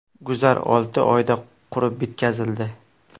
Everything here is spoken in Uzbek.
Guzar olti oyda qurib bitkazildi.